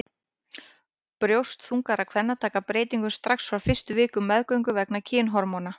Brjóst þungaðra kvenna taka breytingum strax á fyrstu vikum meðgöngu vegna kynhormóna.